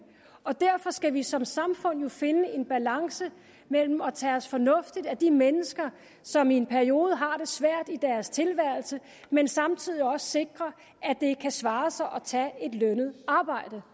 og derfor skal vi som samfund jo finde en balance mellem at tage os fornuftigt af de mennesker som i en periode har det svært i deres tilværelse men samtidig også sikre at det kan svare sig at tage et lønnet arbejde